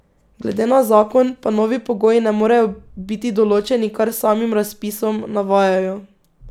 Glede na zakon pa novi pogoji ne morejo biti določeni kar s samim razpisom, navajajo.